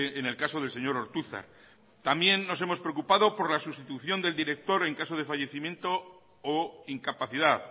en el caso del señor ortuzar también nos hemos preocupado por la sustitución del director en caso de fallecimiento o incapacidad